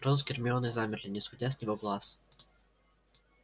рон с гермионой замерли не сводя с него глаз